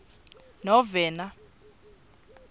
novena